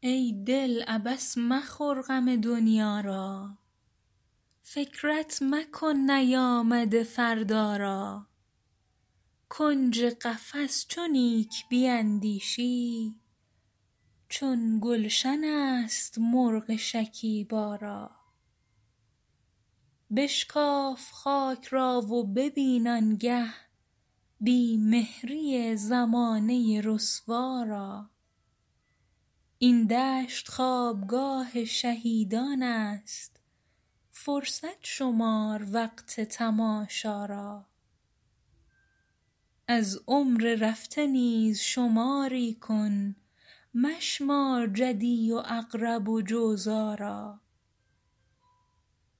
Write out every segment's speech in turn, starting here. ای دل عبث مخور غم دنیا را فکرت مکن نیامده فردا را کنج قفس چو نیک بیندیشی چون گلشن است مرغ شکیبا را بشکاف خاک را و ببین آنگه بی مهری زمانه رسوا را این دشت خوابگاه شهیدانست فرصت شمار وقت تماشا را از عمر رفته نیز شماری کن مشمار جدی و عقرب و جوزا را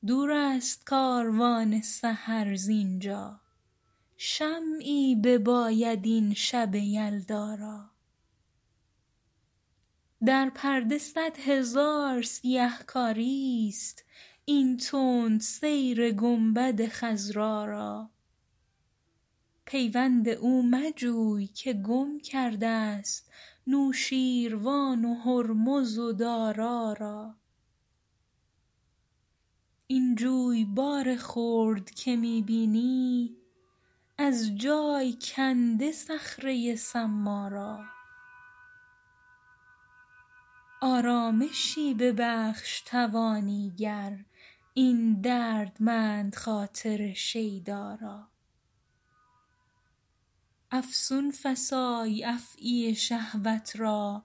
دور است کاروان سحر زینجا شمعی بباید این شب یلدا را در پرده صد هزار سیه کاریست این تند سیر گنبد خضرا را پیوند او مجوی که گم کرد است نوشیروان و هرمز و دارا را این جویبار خرد که می بینی از جای کنده صخره صما را آرامشی ببخش توانی گر این دردمند خاطر شیدا را افسون فسای افعی شهوت را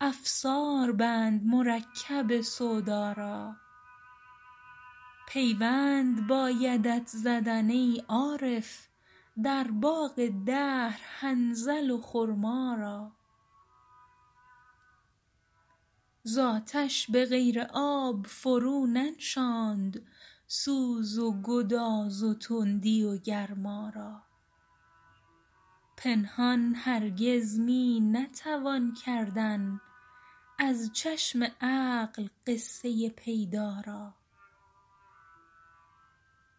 افسار بند مرکب سودا را پیوند بایدت زدن ای عارف در باغ دهر حنظل و خرما را زاتش بغیر آب فرو ننشاند سوز و گداز و تندی و گرما را پنهان هرگز می نتوان کردن از چشم عقل قصه پیدا را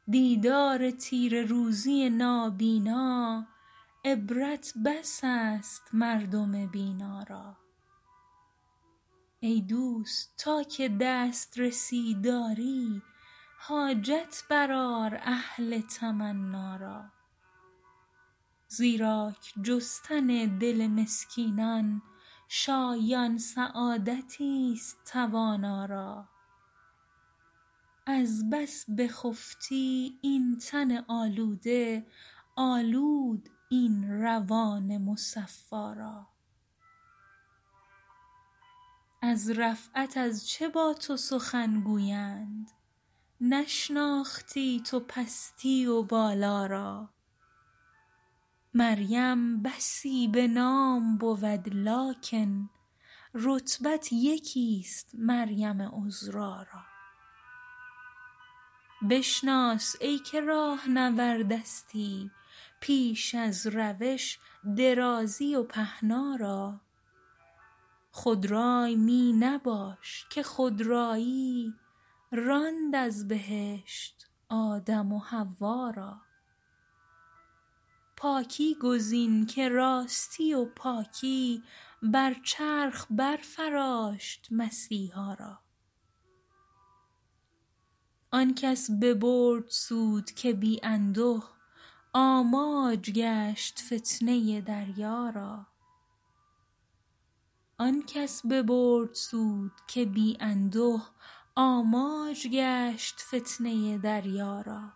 دیدار تیره روزی نابینا عبرت بس است مردم بینا را ای دوست تا که دسترسی داری حاجت بر آر اهل تمنا را زیراک جستن دل مسکینان شایان سعادتی است توانا را از بس بخفتی این تن آلوده آلود این روان مصفا را از رفعت از چه با تو سخن گویند نشناختی تو پستی و بالا را مریم بسی بنام بود لکن رتبت یکی است مریم عذرا را بشناس ایکه راهنوردستی پیش از روش درازی و پهنا را خود رای می نباش که خودرایی راند از بهشت آدم و حوا را پاکی گزین که راستی و پاکی بر چرخ بر فراشت مسیحا را آنکس ببرد سود که بی انده آماج گشت فتنه دریا را اول بدیده روشنیی آموز زان پس بپوی این ره ظلما را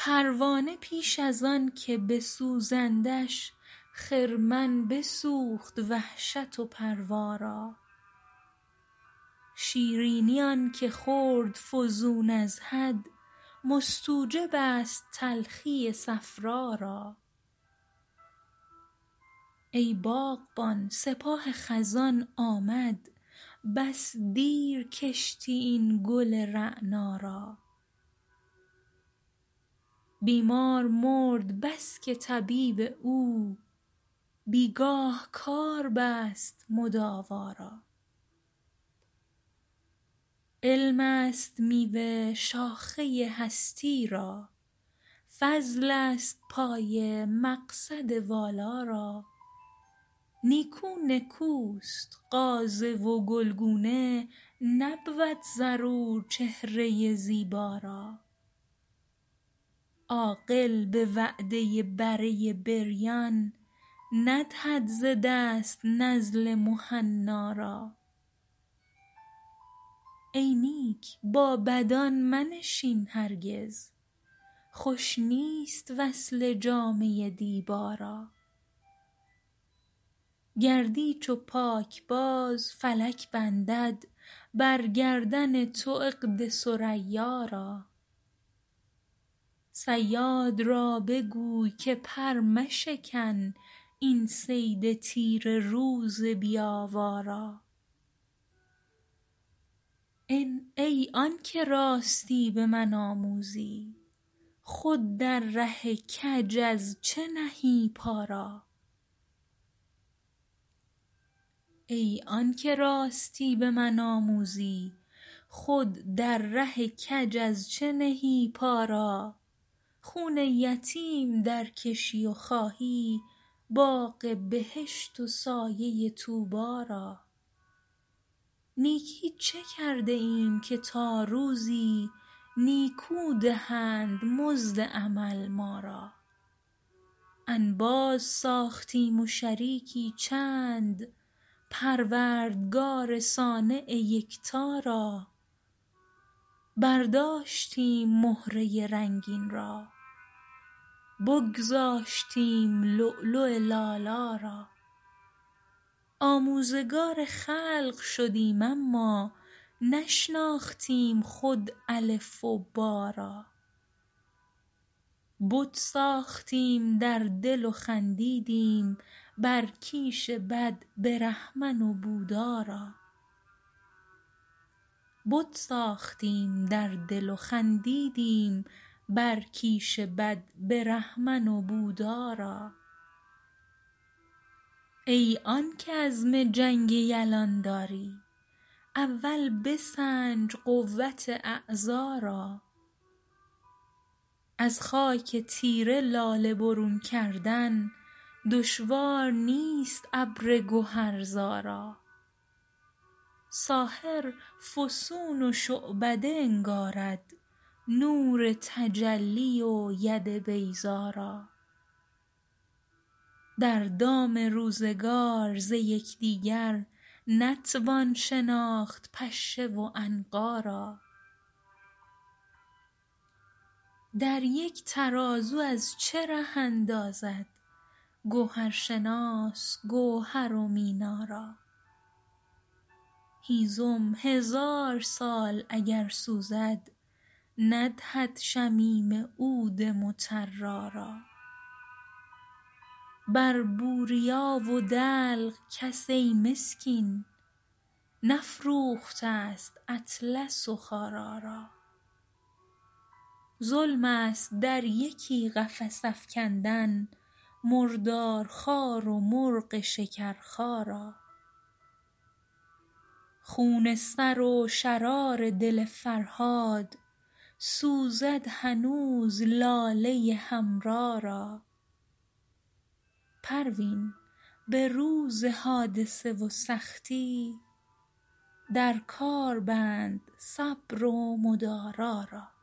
پروانه پیش از آنکه بسوزندش خرمن بسوخت وحشت و پروا را شیرینی آنکه خورد فزون از حد مستوجب است تلخی صفرا را ای باغبان سپاه خزان آمد بس دیر کشتی این گل رعنا را بیمار مرد بسکه طبیب او بیگاه کار بست مداوا را علم است میوه شاخه هستی را فضل است پایه مقصد والا را نیکو نکوست غازه و گلگونه نبود ضرور چهره زیبا را عاقل بوعده بره بریان ندهد ز دست نزل مهنا را ای نیک با بدان منشین هرگز خوش نیست وصله جامه دیبا را گردی چو پاکباز فلک بندد بر گردن تو عقد ثریا را صیاد را بگوی که پر مشکن این صید تیره روز بی آوا را ای آنکه راستی بمن آموزی خود در ره کج از چه نهی پا را خون یتیم در کشی و خواهی باغ بهشت و سایه طوبی را نیکی چه کرده ایم که تا روزی نیکو دهند مزد عمل ما را انباز ساختیم و شریکی چند پروردگار صانع یکتا را برداشتیم مهره رنگین را بگذاشتیم لؤلؤ لالا را آموزگار خلق شدیم اما نشناختیم خود الف و با را بت ساختیم در دل و خندیدیم بر کیش بد برهمن و بودا را ای آنکه عزم جنگ یلان داری اول بسنج قوت اعضا را از خاک تیره لاله برون کردن دشوار نیست ابر گهر زا را ساحر فسون و شعبده انگارد نور تجلی و ید بیضا را در دام روزگار ز یکدیگر نتوان شناخت پشه و عنقا را در یک ترازو از چه ره اندازد گوهرشناس گوهر و مینا را هیزم هزار سال اگر سوزد ندهد شمیم عود مطرا را بر بوریا و دلق کس ای مسکین نفروختست اطلس و خارا را ظلم است در یکی قفس افکندن مردار خوار و مرغ شکرخا را خون سر و شرار دل فرهاد سوزد هنوز لاله حمرا را پروین بروز حادثه و سختی در کار بند صبر و مدارا را